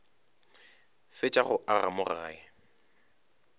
fetša go aga mo gae